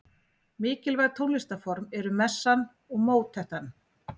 Mikilvæg tónlistarform voru messan og mótettan.